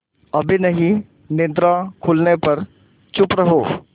अभी नहीं निद्रा खुलने पर चुप रहो